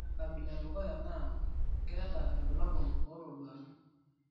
Ore enkabila edukuya naa naa keeta irbulabol ootoduaki.